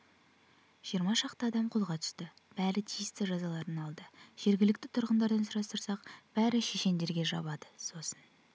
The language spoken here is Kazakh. жиырма шақты адам қолға түсті бәрі тиісті жазаларын алды жергілікті тұрғындардан сұрастырсақ бәрі шешендерге жабады сосын